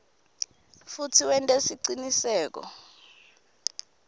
futsi wente siciniseko